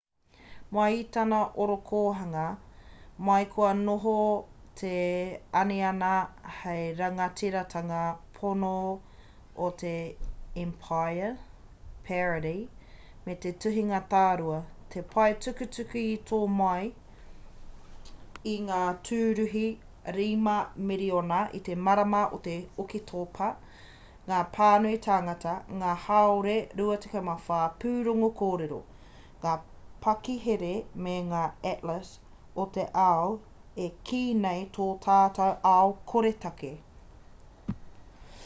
mai i tana orokohanga mai kua noho te aniana hei rangatiratanga pono o te emapaia parody me te tuhinga tārua he paetukutuku i tō mai i ngā tūruhi 5,000,000 i te marama o oketopa ngā pānui tāngata ngā hāore 24 pūrongo kōrero ngā pakihere me ngā atlas o te ao e kī nei tō tātou ao koretake